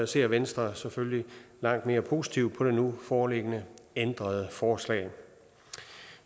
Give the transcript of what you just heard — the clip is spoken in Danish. ser venstre selvfølgelig langt mere positivt på det nu foreliggende ændrede forslag